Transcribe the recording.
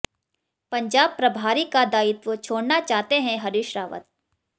पंजाब प्रभारी का दायित्व छोड़ना चाहते हैं हरीश रावत